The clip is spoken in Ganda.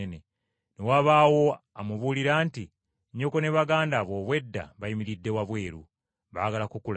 Ne wabaawo amubuulira nti, “Nnyoko ne baganda bo obwedda bayimiridde wabweru, baagala kukulabako.”